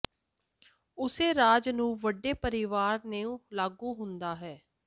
ਉਸੇ ਰਾਜ ਨੂੰ ਵੱਡੇ ਪਰਿਵਾਰ ਨੂੰ ਲਾਗੂ ਹੁੰਦਾ ਹੈ